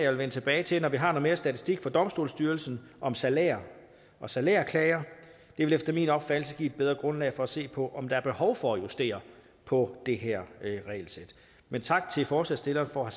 vil vende tilbage til når vi har lidt mere statistik fra domstolsstyrelsen om salærer og salærklager det vil efter min opfattelse give et bedre grundlag for at se på om der er behov for at justere på det her regelsæt men tak til forslagsstillerne for at